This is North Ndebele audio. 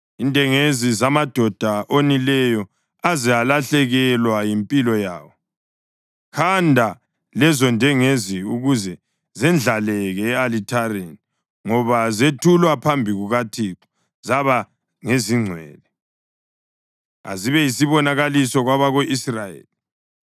indengezi zamadoda onileyo aze alahlekelwa yimpilo yawo. Khanda lezondengezi ukuze zendlaleke e-alithareni, ngoba zethulwa phambi kukaThixo zaba ngezingcwele. Azibe yisibonakaliso kwabako-Israyeli.”